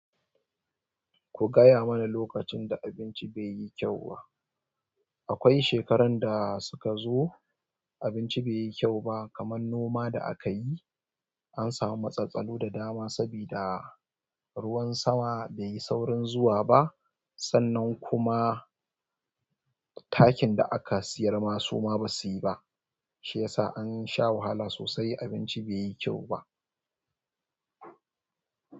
Ku gaya mana lokacin da abinci bai yi kyau ba. Akwai shekaran da suka zo, abinci bai yi kyau ba, kamar noma da akayi, an samu matsatsalu da dama sabida ruwan sama bai yi saurin zuwa ba, sannan kuma takin da aka siyar ma suma basu yi ba, shiyasa an sha wahala sosai abinci bai yi kyau ba.